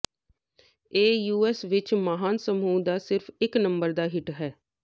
ਇਹ ਯੂਐਸ ਵਿੱਚ ਮਹਾਨ ਸਮੂਹ ਦਾ ਸਿਰਫ ਇੱਕ ਨੰਬਰ ਦਾ ਹਿੱਟ ਹੈ